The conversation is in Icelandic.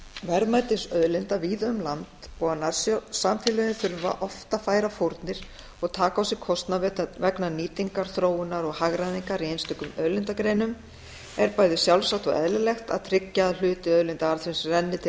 verðmætis auðlinda víða um land og að nærsamfélögin þurfa oft að færa fórnir og taka á sig kostnað vegna nýtingar þróunar og hagræðingar í einstökum auðlindagreinum er bæði sjálfsagt og eðlilegt að tryggja að hluti auðlindaarðsins renni til